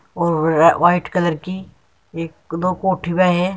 white colour की एक दो --